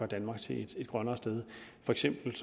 danmark til et grønnere sted for eksempel